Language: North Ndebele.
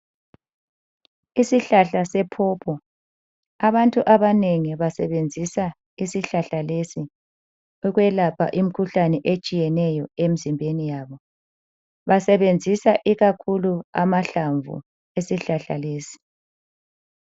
Isihlahla sePopo abantu abanengi basebenzisa isihlahla lesi ukwelapha imikhuhlane etshiyeneyo emzimbeniyabo. Basebenzisa ikakhulu amahlamvu esihlahla lesi.